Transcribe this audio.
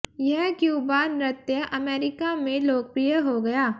यह क्यूबा नृत्य अमेरिका में लोकप्रिय हो गया